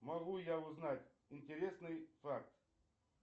могу я узнать интересный факт